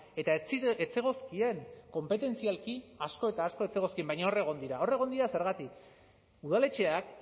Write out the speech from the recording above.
eta ez zegozkien konpetentzialki asko eta asko ez zegozkien baina hor egon dira hor egin dira zergatik udaletxeak